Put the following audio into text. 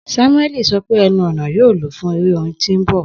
Samueli sọ pe ẹnu-ọna ẹnu-ọna yoo lo fun ere orin orin ti n bọ.